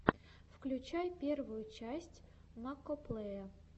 включай первую часть макоплэя